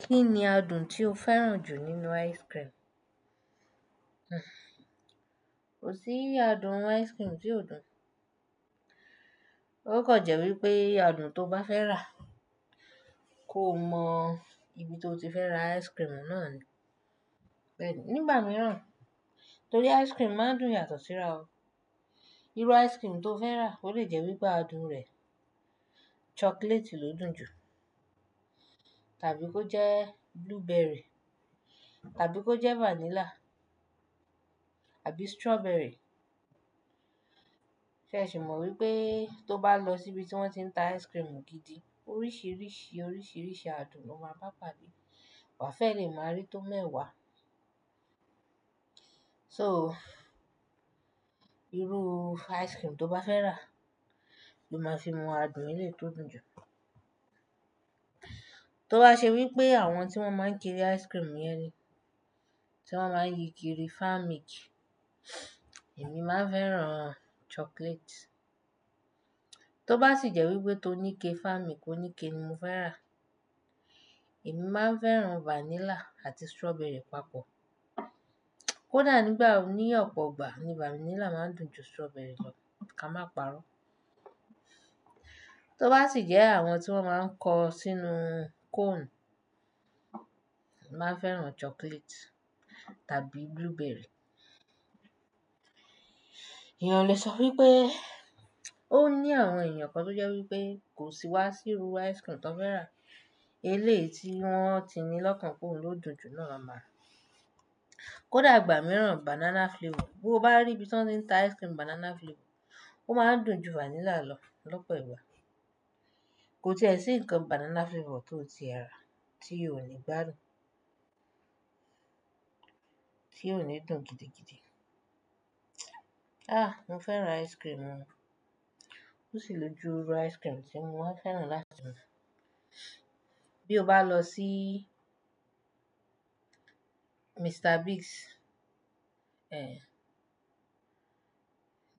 Kí ni adùn tí o fẹ́ràn jù nínú ice cream? Kò sí adùn ice cream tí ó dùn. Ó kàn jẹ́ wípé adùn tó bá fẹ́ rà, kó mọ ibi tó ti fẹ́ ra ice cream náà ni. Nígbà miran, torí ice cream maa n dùn yàtọ̀ síra o. Irú ice cream tó fẹ́ rà ó lè jẹ́ wípé adùn rẹ̀ chocolate ló dùn jù, tàbí kó jẹ́ blueberry, tàbí kó jẹ́ vanilla, àbí strawberry. Sé ẹ sì mọ wípé tó bá lọ sí ibi tí wón ti ń ta ice cream gidi, oríṣìíríṣìí oríṣìíríṣìí adùn ló máa bá padà bí? Wà á fẹ́e lẹ́ máa rí tó mẹ́wàá. Soo, iru ice cream to ba fe ra lo maa fi mo adùn eleyii to dùn ju. Tó bá ṣe wípé àwọn tí wón máa ń kiri ice cream yẹn ni, tí wón máa ń yi kiri farm milk, èmi máa fẹ́ran chocolate. Tó bá sì jẹ́ wípé ti oníke farm milk, óníke ni mo fẹ́ rà. Èmi máa fẹ́ran vanilla àti strawberry papọ̀. Ó dà nígbà wo ní ọ̀pọ̀ ọgbà ni vanilla máa ń dùn ju strawberry lọ. Ká má parọ́. Tó bá sì jẹ́ àwọn tí wón máa ń kọ sínú cone, màá n fẹ́ran chocolate tàbí blueberry. Èèyàn lè sọ wípé ó ní àwọn èèyàn kan tó jẹ́ wípé kò sí wá sí irú ice cream tó fẹ́ rà. Eleyi tí wón ti ní lọ́kàn pé òun ló dùn jù náà máa mọ̀. Ko dàgbà mìíràn banana flavour. Bí o bá rí ibi tí wọ́n ń ta ice cream banana flavour, ó máa ń dùn ju vanilla lọ lọ́pọ̀ ìgbà. Kò tiẹ́ ṣi nkan banana flavour tó tie rà, tí òni gbà dùn. Tí òni dùn gidigidi. Ah! Mo fẹ́ran ice cream o. Ò sí lójú irú ice cream tí mo máa fẹ́ran láti mú. Bí o bá lọ sí Mr Biggs,